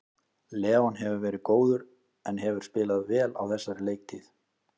Leon hefur verið góður en hefur spilað vel á þessari leiktíð.